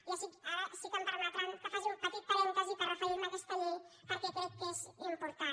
i ara sí que em permetran que faci un petit parèntesi per referir me a aquesta llei perquè crec que és important